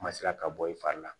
Ma sera ka bɔ i fari la